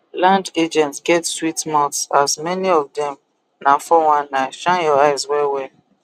land agents get sweet mouth as many of dem na 419 shine your eyes wellwell